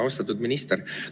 Austatud minister!